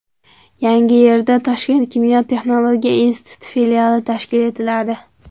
Yangiyerda Toshkent kimyo-texnologiya instituti filiali tashkil etiladi.